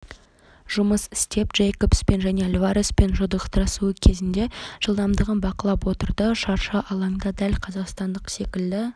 жұмыс істеп джейкобспен және альвареспен жұдырықтасуы кезінде жылдамдығын бақылап отырды шаршы алаңда дәл қазақстандық секілді